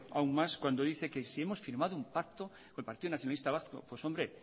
aún más que si hemos firmado un pacto con el partido nacionalista vasco pues hombre